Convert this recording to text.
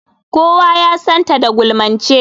Kowa ya san ta da gulmance.